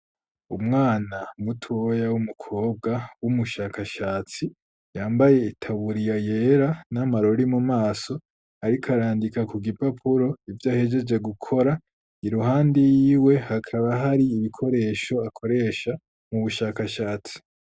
Umwana mutoya, w'umukobwa, w'umushakashatsi, yambaye itaburiya yera, n'amarori mumaso; ariko arandika ku gipapuro, ivyo ahegeje gukora; iruhande yiwe, hakaba, hari ibikoresho, akoresha mu bushakashatsi.